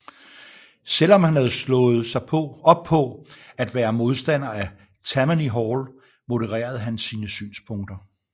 Selv om han havde slået sig op på at være modstander af Tammany Hall modererede han sine synspunkter